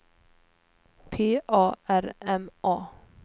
P A R M A